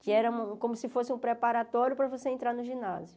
que era um como se fosse um preparatório para você entrar no ginásio.